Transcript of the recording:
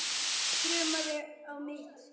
Þrumaði á mitt markið.